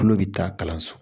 Kulo bɛ taa kalanso